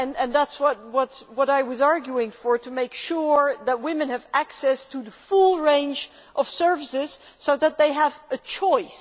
This is what I was arguing for to make sure that women have access to the full range of services so that they have a choice.